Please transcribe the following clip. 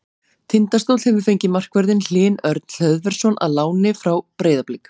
Tindastóll hefur fengið markvörðinn Hlyn Örn Hlöðversson á láni frá Breiðabliki.